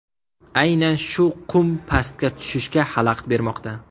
Aynan shu qum pastga tushishga xalaqit bermoqda.